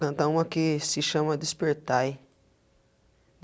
Cantar uma que se chama Despertai.